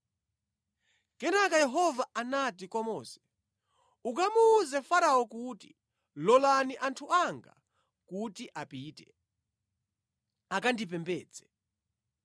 Kenaka Yehova anati kwa Mose, “Ukamuwuze Farao kuti, Lolani anthu anga kuti apite, akandipembedze.